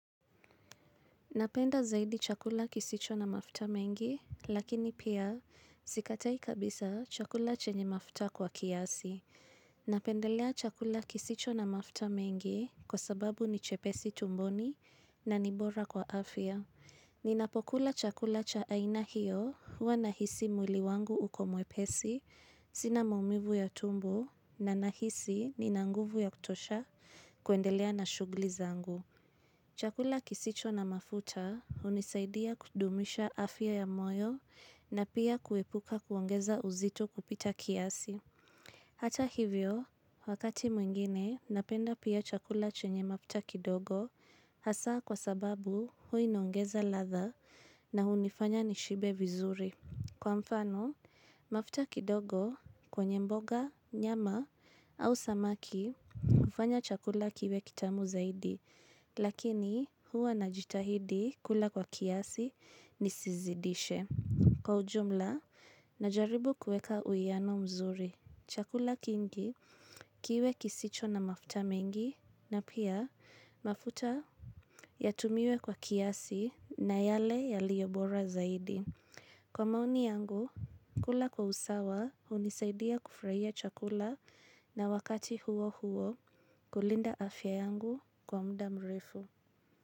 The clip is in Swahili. Napenda zaidi chakula kisicho na mafuta mengi, lakini pia sikatai kabisa chakula chenye mafuta kwa kiasi. Napendelea chakula kisicho na mafuta mengi kwa sababu ni chepesi tumboni na nibora kwa afya. Ninapokula chakula cha aina hiyo huwa nahisi mwili wangu uko mwepesi, sina maumivu ya tumbo na nahisi nina nguvu ya kutosha kuendelea na shughuli zangu. Chakula kisicho na mafuta hunisaidia kudumisha afya ya moyo na pia kuepuka kuongeza uzito kupita kiasi. Hata hivyo, wakati mwingine, napenda pia chakula chenye mafuta kidogo hasaa kwa sababu huwa inaongeza ladha na hunifanya nishibe vizuri. Kwa mfano, mafuta kidogo kwenye mboga, nyama au samaki hufanya chakula kiwe kitamu zaidi, lakini huwa najitahidi kula kwa kiasi nisizidishe. Kwa ujumla, najaribu kueka uiyano mzuri. Chakula kingi kiwe kisicho na mafuta mengi na pia mafuta yatumiwe kwa kiasi na yale yaliyobora zaidi. Kwa maoni yangu, kula kwa usawa hunisaidia kufurahia chakula na wakati huo huo kulinda afya yangu kwa mda mrefu.